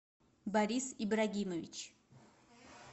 борис ибрагимович